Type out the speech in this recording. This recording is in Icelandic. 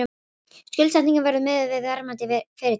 Skuldsetningin verði miðuð við verðmæti fyrirtækisins